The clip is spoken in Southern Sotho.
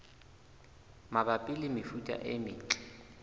mabapi le mefuta e metle